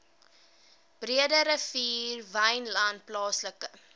breederivier wynland plaaslike